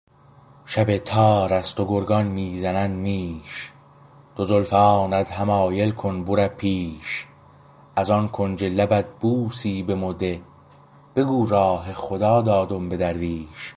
شب تار است و گرگان می زنند میش دو زلفانت حمایل کن بوره پیش از آن کنج لبت بوسی به مو ده بگو راه خدا دادم به درویش